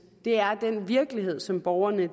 det er den virkelighed som borgerne